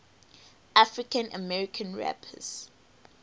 african american rappers